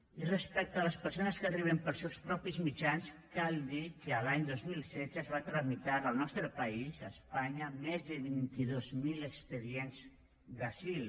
i respecte a les persones que arriben pels seus propis mitjans cal dir que l’any dos mil setze es van tramitar al nostre país a espanya més de vint dos mil expedients d’asil